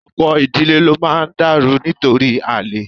Ọ̀pọ̀ ìdílé ló máa dàrú nítorí àlè